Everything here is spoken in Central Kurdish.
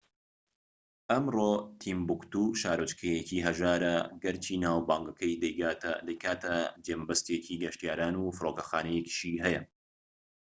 ئەمڕۆ تیمبوکتو شارۆچکەیەکی هەژارە گەرچی ناوبانگەکەی دەیکاتە جێمەبەستێکی گەشتیاران و فرۆکەخانەیەکیشی هەیە